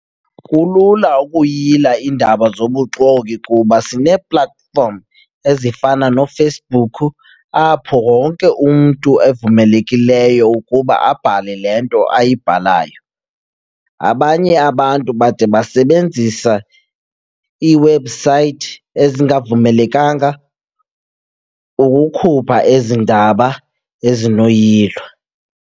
Kulula ukuyila iindaba zobuxoki kuba sinee-platform ezifana noFacebook apho wonke umntu evumelekileyo ukuba abhale le nto ayibhalayo. Abanye abantu bade basebenzisa iiwebhusayithi ezingavumelekanga ukukhupha ezi ndaba ezinoyilo.